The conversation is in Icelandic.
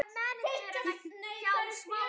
Sumar nætur lágu þeir klukku